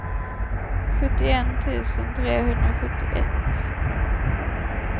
sjuttioett tusen trehundrasjuttioett